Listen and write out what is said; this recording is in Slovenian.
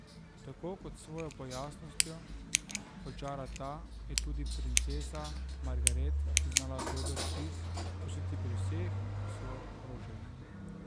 Tako, kot s svojo pojavnostjo očara ta, je tudi princesa Margaret znala dober vtis pustiti pri vseh, ki so jo obkrožali.